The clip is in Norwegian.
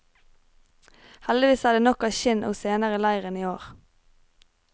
Heldigvis er det nok av skinn og sener i leiren i år.